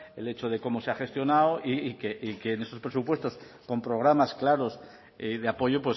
el hecho de cómo se ha gestionado y que en estos presupuestos con programas claros de apoyo